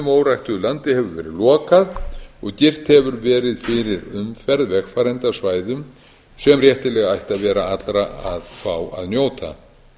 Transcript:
og óræktuðu landi hefur verið lokað og girt hefur verið fyrir umferð vegfarenda á svæðum sem réttilega ætti að vera allra að fá að njóta